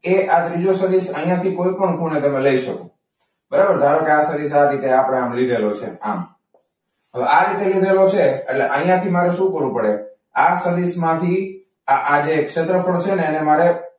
એ આજે ત્રીજો સદિશ અહીંયાથી તમે કોઈપણ ખૂણે લઈ શકો. બરાબર ધારો કે આ સદી આ રીતે આપણે આ લીધેલો છે આમ. હવે આ રીતે લીધેલો છે. એટલે અહીંયા થી મારે શું કરવું પડે આ સદીશ માંથી આજે છેલ્લો છે ને એને મારે.